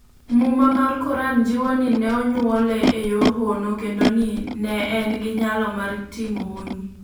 Muma mar Koran jiwo ni ne onyuole e yor hono kendo ni ne en gi nyalo mar timo honni.